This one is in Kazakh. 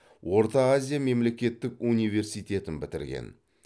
орта азия мемлекеттік университетін бітірген